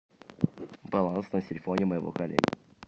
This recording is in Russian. баланс на телефоне моего коллеги